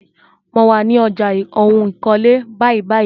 Mo wà ní ọjà ohun ìkọ́lé báyìbáyìí.